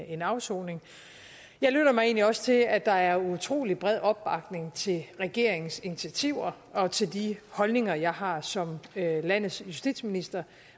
en afsoning jeg lyttede mig egentlig også til at der er utrolig bred opbakning til regeringens initiativer og til de holdninger jeg har som landets justitsminister